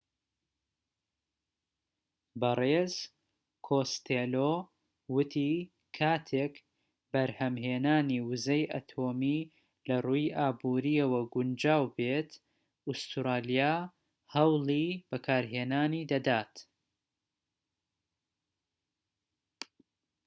بەڕێز کۆستێلۆ وتی کاتێك بەرهەمهێنانی وزەی ئەتۆمی لە ڕووی ئابوریەوە گونجاو دەبێت ئوستورالیا هەوڵی بەکارهێنانی دەدات